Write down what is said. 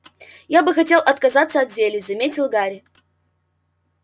я бы хотел отказаться от зелий заметил гарри